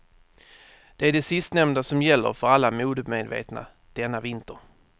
Det är det sistnämnda som gäller för alla modemedvetna denna vinter.